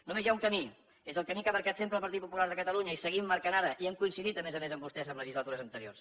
només hi ha un camí és el camí que ha marcat sempre el partit popular de catalunya i seguim marcant ara i hem coincidit a més a més amb vostès en legislatures anteriors